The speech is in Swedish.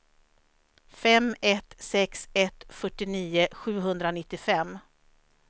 fem ett sex ett fyrtionio sjuhundranittiofem